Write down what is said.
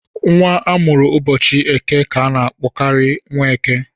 Nwa amụrụ ụbọchị eke kà a n'akpọ Nweke.